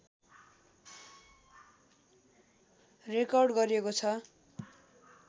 record गरिएको छ